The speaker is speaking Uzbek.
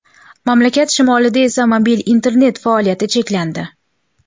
Mamlakat shimolida esa mobil internet faoliyati cheklandi.